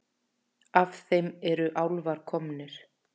Af þeim eru álfar komnir.